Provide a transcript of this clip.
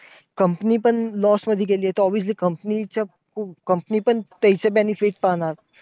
Company पण loss मध्ये गेली आहे. तर obviously company च्या company पण त्याचे benefit पाहणार.